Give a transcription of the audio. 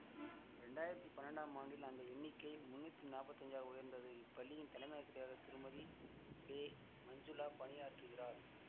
இரண்டாயிரத்தி பன்னெண்டாம் ஆண்டில் அந்த எண்ணிக்கை முன்னூத்தி நாப்பத்தஞ்சாக உயர்ந்தது இப்பள்ளியின் தலைமையாசிரியராக திருமதிபெமஞ்சுளா பணியாற்றுகிறார்